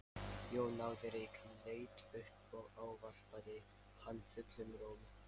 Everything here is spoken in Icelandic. Jón náði reyk, leit upp og ávarpaði hann fullum rómi.